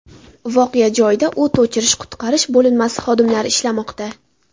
Voqea joyida o‘t o‘chirish-qutqarish bo‘linmasi xodimlari ishlamoqda.